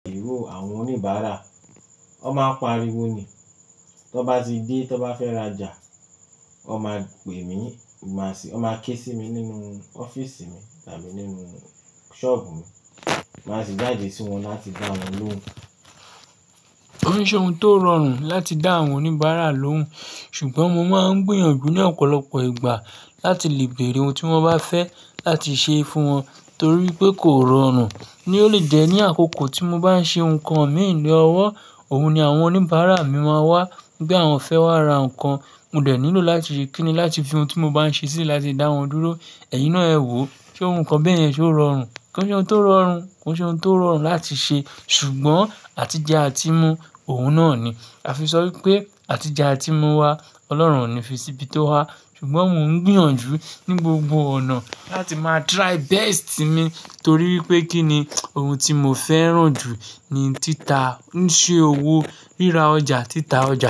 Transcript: Èrò àwọn oníbàárà, ọ máa ń pariwo ni, tó bá ti dé, tó bá fẹ́ra jà, wọn máa pè mí, wọn máa ké sí mi nínú ọ́fíísì mi tàbí nínú ṣọ́ọ̀bù mi, máa sì jáde sí wọn láti dá wọn lóhùn. Ó ní ṣohun tó rọrùn láti dá àwọn oníbàárà lóhùn, ṣùgbọ́n mo máa ń gbìyànjú ní ọ̀pọ̀lọpọ̀ ìgbà láti lè bèrè ohun tí wọ́n bá fẹ́ láti ṣe fún wọn torí pé kò rọrùn. Ni olùjẹ́ ní àkókò tí mo bá ń ṣe nǹkan mi ní ọwọ́, òun ni àwọn oníbàárà mi máa wá, wipẹ́ àwọn fẹ́ wá ra nǹkan, mo dẹ̀ nílò láti ṣe kí ni láti fi ohun tí mo bá ń ṣe síi láti dá wọn dúró, ẹ̀yin náà ẹ wò, ṣe ohun kan bẹ́ẹ̀ yẹn ṣe ó rọrùn? Ko n ṣe óhun tó rọrùn? Kon ṣe óhun tó rọrùn láti ṣe? Ṣùgbọ́n àtijẹ àti mú òun náà ni. A fi sọ wípé àtijẹ àti mú wá, Ọlọ́run ò ní fi síbi tó hà. Ṣùgbọ́n mò ń gbìyànjú ní gbogbo ọ̀nà láti máa try best mi torí wípé kí ni ohun tí mo fẹ́ràn jù ní títa, ń ṣe òwò ríra ọjà, títa ọjà.